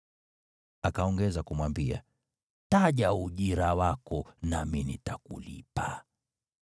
Akaongeza kumwambia, “Taja ujira wako nami nitakulipa.”